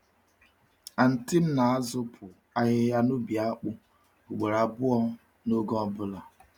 Anti m na-azụpụ ahịhịa n’ubi akpụ ugboro abụọ n’oge ọ bụla.